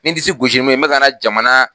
Me disi gosi ni mun ye me ka n na jamana